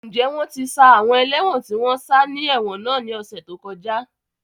Ǹjẹ́ wọ́n ti ṣá àwọn ẹlẹ́won tó sá ni ẹ̀wọ̀n náà ní ọ̀sẹ̀ tó kọjá tàn?